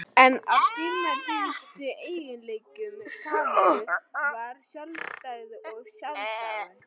Einn af dýrmætustu eiginleikum Kamillu var sjálfstæði og sjálfsagi.